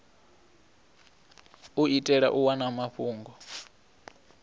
u itela u wana mafhungo